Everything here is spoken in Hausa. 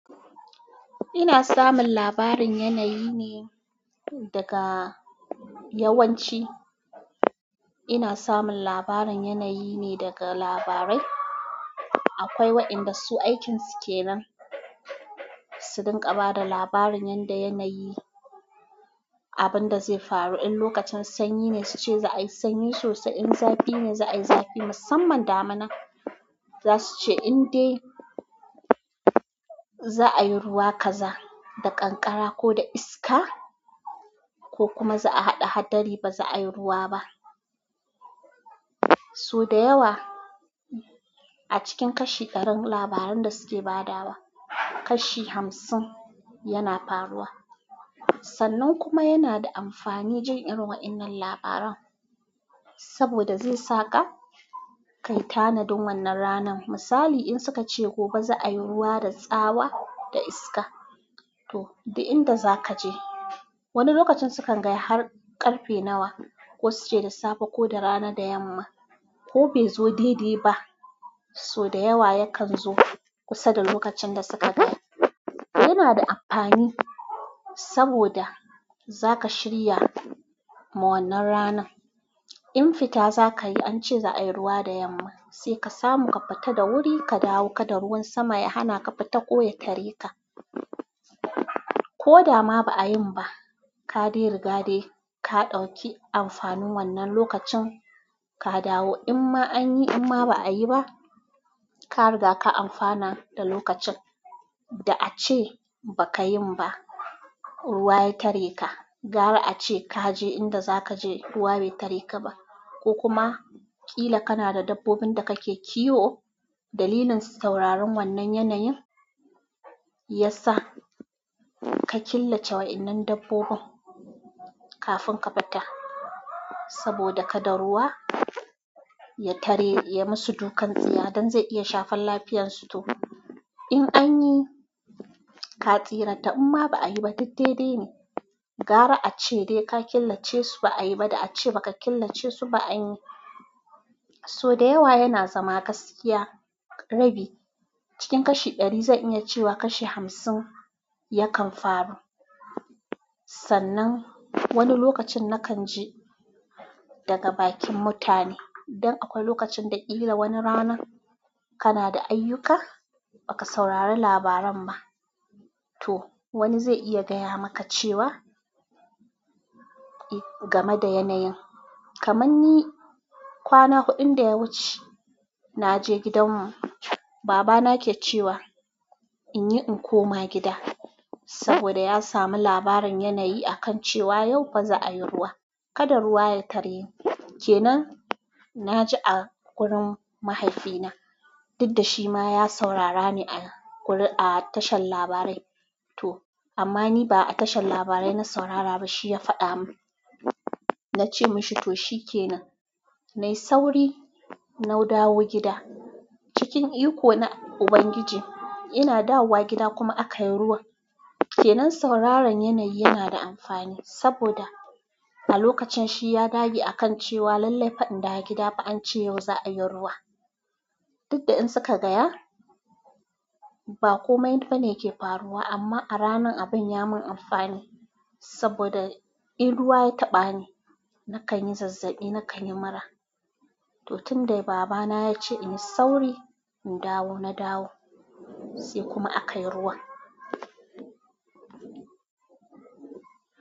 Ina samun labarin yanayi ne daga yawanci. Ina samun labarin yanayi ne daga labarai. Akwai waʼyanda su aikinsu ke nan su dinga bada labarin da yanayi abun da zai faru in lokacin sanyi ne suce za ayi sanyi sosai in zafi ne za ayi zafi sosai. Musamman damina za su ce in dai za a yi ruwa kaza da ƙanƙara ko da iska ko kuma za a haɗa hadari ba za a yi ruwa ba. Sau dayawa acikin kashi ɗarin labaran da suke bayarwa kashi hamsin yana faruwa. Sannan kuma yana da amfani jin irin waɗannan labaran saboda zaisaka kayi tanadin wannan ranar. Misali in suka ce gobe za a yi ruwa da tsawa da iska to di inda za ka je. Wani lokacin su kan gaya har ƙarfe nawa ko su ce da safe ko da rana da yamma ko bai zo daidaiba. So da yawa yakan zo kusa da lokacin da suka gaya. Yana da amfani saboda zaka shirya ma wannan ranar. In fita za ka yi an ce za a yi ruwa da yamma sai ka samu ka fita da wuri ka dawo ka da ruwan sama ya hana ka fita ko ya tare ka. Ko dama ba a yin ba kaɗai rigade ka ɗauki amfanin wannan lokacin ka dawo. In ma an yi in ma ba a yi ba ka riga ka amfana da lokacin da a ce ba ka yin ba ruwa ya tare ka. Gara a ce ka je inda za ka je ruwa bai tare ka ba ko kuma ƙila kana da dabbobin da kake kiwo dalilin sauraron wannan yanayin ya sa ka killace wa'innan dabbobin kafin ka fita saboda ka da ruwa ya tare ya masu dukan tsiya don zai iya shafan lafiyansu to. In anyi ka tsira tam imma ba a yi ba duk dai daine. Gara a ce dai ka killace su ba a yi ba da a ce ba ka killace su ba an yi. So da yawa yana zama gaskiya rabi cikin kashi ɗari zan iya cewa kashi hamsin yakan faru. Sannan wani lokacin na kan ji daga bakin mutane dan akwai lokacin da ƙila wani rana kana da ayyuka baka saurari labaran ba to wani zai iya gaya maka cewa game da yanayin. Kamanni kwana huɗun da ya wuce naje gidan mu baba na ke cewa in yi in koma gida saboda ya sami labarin yanayi a kan cewa yau fa za a yi ruwa. Kada ruwa ya tareki. Ke nan na ji a wurin mahaifina. Dukda shi ma ya saurara ne a ƙuri a tashar labarai to. Amma ni ba a tashar labarai na saurara ba shi ya faɗa mun. Na ce mashi to shi ke nan. Nai sauri na dawo gida. Cikin iko na ubangiji ina dawowa gida kuma aka yi ruwan. Ke nan sauraron yanayi yana da amfani saboda a lokacin shi ya dage a kan cewa lallai fa in dawo gida fa an ce yau za a yi ruwa. Dukda in suka gaya ba komai fa ne yake faruwa amma a ranan abin ya mun amfani saboda in ruwa ya taɓa ni na kan yi zazzaɓi na kan yi mura. To tun da baba na ya ce in yi sauri in dawo na dawo sai kuma aka yi ruwan.